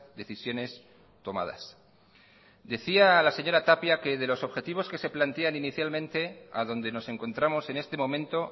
decisiones tomadas decía la señora tapia que de los objetivos que se plantean inicialmente a donde nos encontramos en este momento